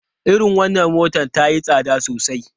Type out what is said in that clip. Irin wannan motar ta yi tsada sosai.